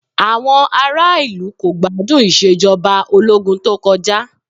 Àwọn ará ìlú kò gbádùn Ìṣèjọba Ológun tó kọjá